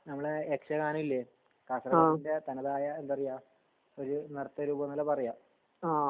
നമ്മളെ ഗാനം ഇല്ലേ കാസർകോടിന്റെ തനതായ എന്താറയ ഒരു നിർത്തരൂപം നല്ലേ പറയാ